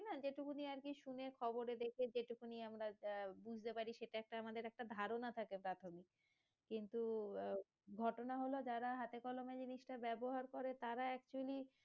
না যেই টুকুনই আরকি শুনে খবরে দেখে যেই টুকুনই আমরা আহ বুঝতে পারি সেটা একটা আমাদের একটা ধারণা থাকে প্রাথমিক কিন্তু আহ ঘটনা হলো যারা হাতে কলমে জিনিস টা ব্যাবহার করে তারা actually